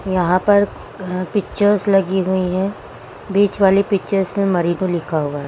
यहां पर पिक्चर्स लगी हुई हैं बीच वाली पिक्चर्स में मणिपुर लिखा हुआ है।